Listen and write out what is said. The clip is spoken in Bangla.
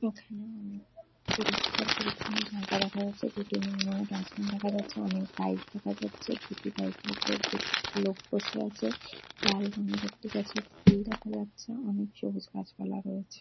এখানে উম পরিষ্কার-পরিছন্ন জায়গা দেখা যাচ্ছে। দুটি নীল রঙের ডাস্টবিন দেখা যাচ্ছে। অনেক বাইক দেখা যাচ্ছে। দুটি বাইক ওপর দুটি লোক বসে আছে। লাল রঙের একটি গাছে ফুল দেখা যাচ্ছে। অনেক সবুজ গাছপালা রয়েছে।